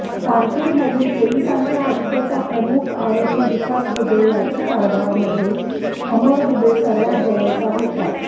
कानपूरमधील पोलिसांच्या हत्येचा मुख्य आरोपी विकास दुबे याच्या कारभारामध्ये अमर दुबे सर्वात जवळचा होता